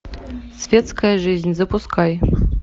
светская жизнь запускай